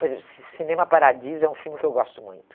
Por exemplo, Ci cinema Paradiso é um filme que eu gosto muito.